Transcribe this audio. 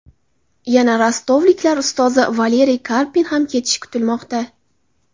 Yana rostovliklar ustozi Valeriy Karpin ham ketishi kutilmoqda.